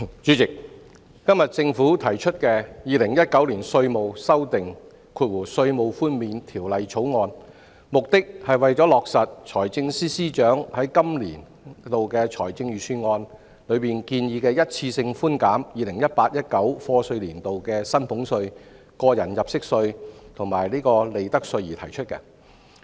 主席，今天政府提出的《2019年稅務條例草案》，旨在落實財政司司長在本年度財政預算案中提出一次性寬減 2018-2019 課稅年度的薪俸稅、個人入息課稅及利得稅的建議。